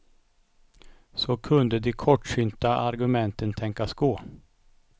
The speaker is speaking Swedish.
Så kunde de kortsynta argumenten tänkas gå.